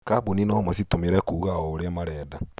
Kambuni no macitũmĩre kuuga o ũrĩa marenda.